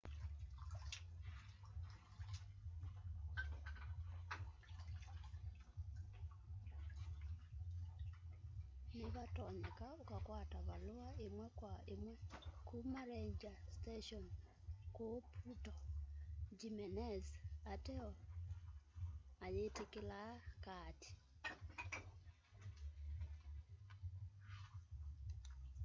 ni vatonyeka ukakwata valua imwe kwa imwe kuma ranger station kuu puerto jimenez ateo mayitikilaa kaati